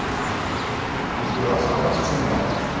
Ég gef alltaf allt sem ég á.